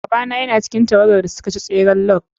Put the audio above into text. Babana yana cikin tawagar da suka ci tseren log.